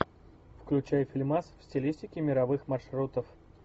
включай фильмас в стилистике мировых маршрутов